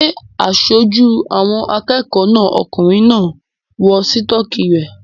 Ṣé aṣojú àwọn akẹ́kọ̀ọ́ náà okùnrin náà ń wọ sítọ́kì rẹ̀?